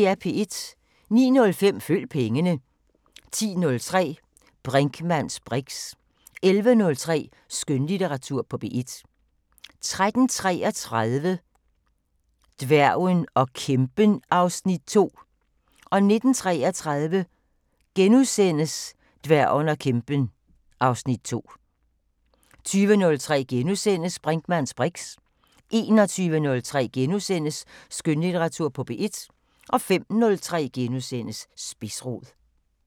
09:05: Følg pengene 10:03: Brinkmanns briks 11:03: Skønlitteratur på P1 13:33: Dværgen og kæmpen (Afs. 2) 19:33: Dværgen og kæmpen (Afs. 2)* 20:03: Brinkmanns briks * 21:03: Skønlitteratur på P1 * 05:03: Spidsrod *